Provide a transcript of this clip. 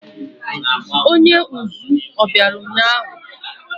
Onye uzú o biara ụnyahụ?